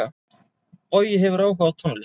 Bogi hefur áhuga á tónlist.